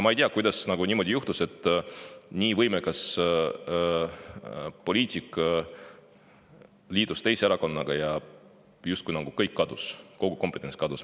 Ma ei tea, kuidas niimoodi juhtus, et kui nii võimekas poliitik liitus teise erakonnaga, siis kõik nagu kadus, kogu kompetents kadus.